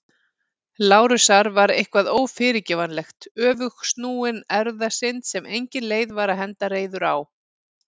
Lárusar var eitthvað ófyrirgefanlegt- öfugsnúin erfðasynd sem engin leið var að henda reiður á.